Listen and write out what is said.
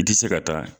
I tɛ se ka taa